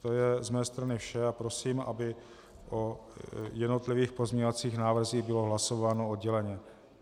To je z mé strany vše a prosím, aby o jednotlivých pozměňovacích návrzích bylo hlasováno odděleně.